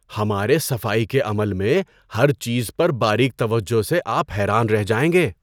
ہمارے صفائی کے عمل میں ہر چیز پر باریک توجہ سے آپ حیران رہ جائیں گے۔